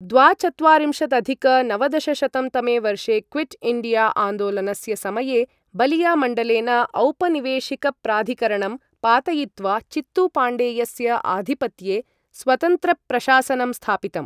द्वाचत्वारिंशदधिक नवदशशतं तमे वर्षे क्विट् इण्डिया आन्दोलनस्य समये बलियामण्डलेन औपनिवेशिकप्राधिकरणं पातयित्वा चित्तूपाण्डेयस्य आधिपत्ये स्वतन्त्रप्रशासनं स्थापितं।